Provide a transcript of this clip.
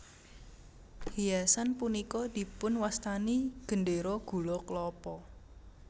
Hiasan punika dipun wastani Gendera Gula Klapa